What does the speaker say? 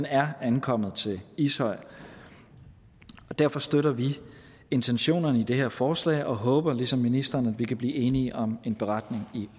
er ankommet til ishøj derfor støtter vi intentionerne i det her forslag og håber ligesom ministeren at vi kan blive enige om en beretning i